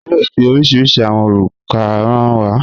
Wọn yóò fi oríṣiríṣí awọn orúkà hàn wà